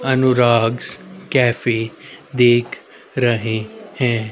Anurag's cafe देख रहे हैं।